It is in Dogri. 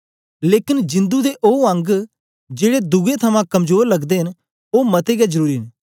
लेकन जिंदु दे ओ अंग जेड़े दुए थमां कमजोर लगदे न ओ मते गै जरुरी न